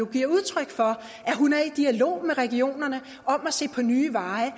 giver udtryk for at hun er i dialog med regionerne om at se på nye veje